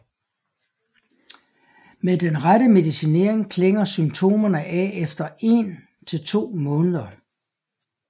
Med den rette medicinering klinger symptomerne af efter én til to måneder